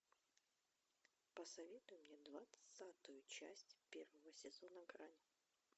посоветуй мне двадцатую часть первого сезона грань